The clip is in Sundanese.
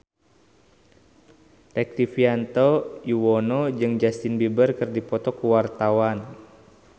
Rektivianto Yoewono jeung Justin Beiber keur dipoto ku wartawan